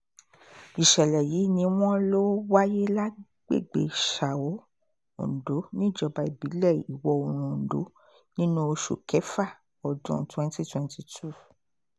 ìṣẹ̀lẹ̀ yìí ni wọ́n lọ wáyé lágbègbè são ondo níjọba ìbílẹ̀ iwọ-oòrùn ondo nínú oṣù kẹwàá ọdún 2022